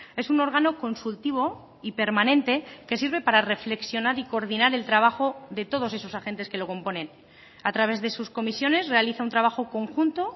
es un órgano consultivo y permanente que sirve para reflexionar y coordinar el trabajo de todos esos agentes que lo componen a través de sus comisiones realiza un trabajo conjunto